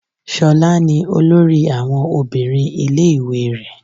Ṣolá ní olórí àwọn obìnrin ilé ìwé rẹ.